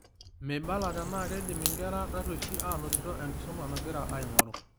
Meibala ntenaa keidim inkera taruesh anotiti enkisuma nagira aing'oru